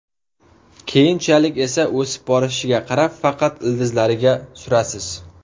Keyinchalik esa o‘sib borishiga qarab, faqat ildizlariga surasiz.